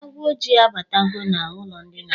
Agwọ ojii a batago na ụlọ ndịna ha.